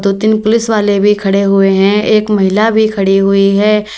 दो तीन पुलिस वाले भी खड़े हुए हैं एक महिला भी खड़ी हुई है।